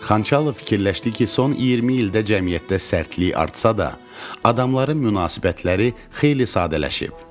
Xançalov fikirləşdi ki, son 20 ildə cəmiyyətdə sərtlik artsa da, adamların münasibətləri xeyli sadələşib.